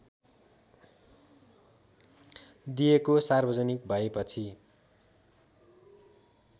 दिएको सार्वजनिक भएपछि